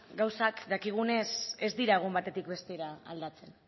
gauzak dakigunez ez dira egun batetik bestera aldatzen